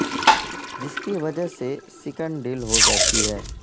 جس کی وجہ سے سکن ڈل ہو جاتی ہے